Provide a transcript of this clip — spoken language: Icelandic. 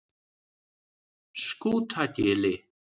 Skútagili